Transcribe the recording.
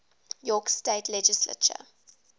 york state legislature